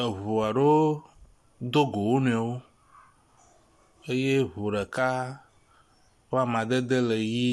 Eŋu aɖewo do go wo nɔewo eye ŋu ɖeka ƒe amadede le ʋie.